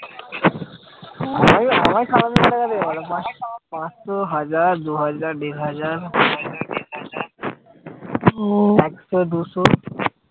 পাঁচশো হাজার দুহাজার দেড় হাজার ও একশো দুশো